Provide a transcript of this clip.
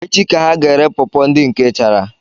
Echi ka ha ga ere pawpaw ndị nke chara?